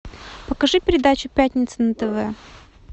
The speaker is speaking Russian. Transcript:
покажи передачу пятница на тв